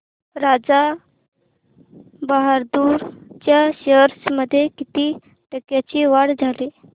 राजा बहादूर च्या शेअर्स मध्ये किती टक्क्यांची वाढ झाली